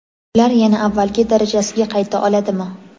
Ular yana avvalgi darajasiga qayta oladimi?.